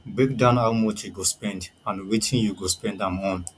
break down how much you go spend and wetin you go spend am on